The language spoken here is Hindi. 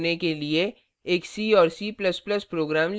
घोषित करने के लिए एक c और c ++ प्रोग्राम लिखें